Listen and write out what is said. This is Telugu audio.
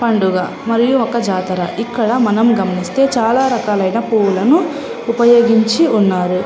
పండుగ ఇది ఒక జాతర ఇక్కడ చాల మని ఉన్నారు ఇంకా చాలా పూలని ఉపయోగించి ఉన్నారు.